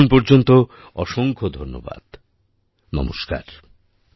ততক্ষণ পর্যন্ত অসংখ্য ধন্যবাদ নমস্কার